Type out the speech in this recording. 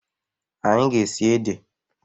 Anyị ga-esi ede.